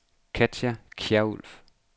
Katja Kjærulff